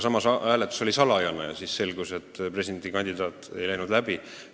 Aga hääletus oli salajane ja presidendi kandidaat ei läinud läbi.